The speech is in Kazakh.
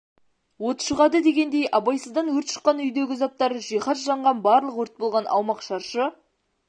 от шығады дегендей абайсыздан өрт шыққан үйдегі заттар жиіаз жанған барлық өрт болған аумақ шаршы